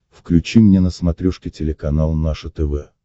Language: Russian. включи мне на смотрешке телеканал наше тв